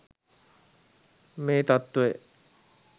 මේ තත්ත්වය